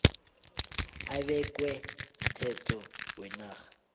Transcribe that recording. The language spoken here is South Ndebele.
ebekwe mthetho wenarha